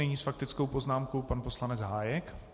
Nyní s faktickou poznámkou pan poslanec Hájek.